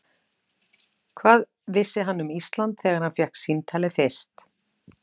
Hvað vissi hann um Ísland þegar hann fékk símtalið fyrst?